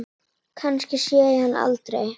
Kannski sé ég hann aldrei.